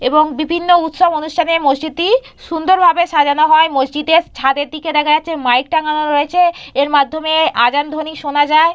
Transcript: এবং বিভিন্ন উৎসব অনুষ্ঠান মসজিদটি সুন্দরভাবে সাজানো হয়। মসজিদে ছাদের দিকে দেখা যাচ্ছে মাইক টাঙানো রয়েছে -এর মাধ্যমে আজান ধ্বনি শোনা যায় ।